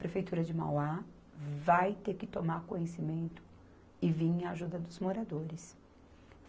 Prefeitura de Mauá vai ter que tomar conhecimento e vir em ajuda dos moradores.